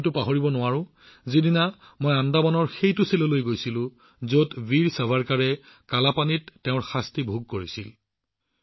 মই সেই দিনটো পাহৰিব নোৱাৰো যেতিয়া মই আন্দামানৰ কাৰাগাৰলৈ গৈছিলো যত বীৰ সাভাৰকাৰে কালাপানীৰ শাস্তি লাভ কৰিছিল